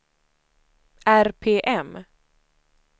RPM